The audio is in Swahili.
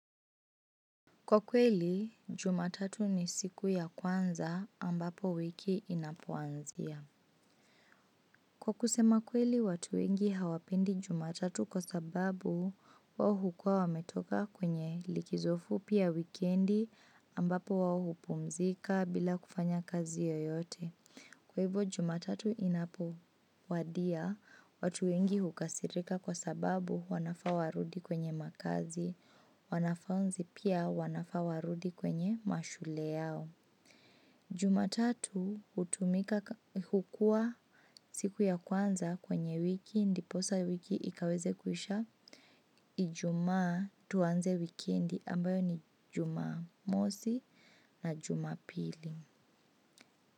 Kwa kweli, jumatatu ni siku ya kwanza ambapo wiki inapoanzia. Kwa kusema kweli, watu wengi hawapendi jumatatu kwa sababu, wao hukua wametoka kwenye likizo fupi ya wikendi ambapo wao hupumzika bila kufanya kazi yoyote. Kwa hivo jumatatu inapowadia, watu wengi hukasirika kwa sababu wanafaa warudi kwenye makazi, wanafunzi pia wanafaa warudi kwenye mashule yao. Jumatatu hukua siku ya kwanza kwenye wiki ndiposa wiki ikaweze kuisha ijumaa tuanze wikendi ambayo ni jumamosi na jumapili.